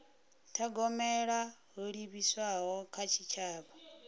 thogomela ho livhiswaho kha tshitshavha